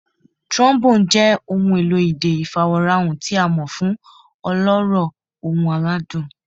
Trombone jẹ ohun elo idẹ ifaworanhan ti a mọ fun ọlọrọ, ohun aladun.